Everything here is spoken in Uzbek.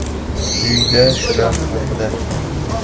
Quyida shular haqida.